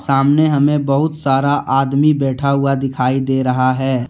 सामने हमें बहुत सारा आदमी बैठा हुआ दिखाई दे रहा है।